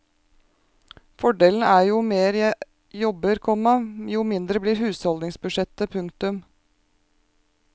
Fordelen er at jo mer jeg jobber, komma jo mindre blir husholdningsbudsjettet. punktum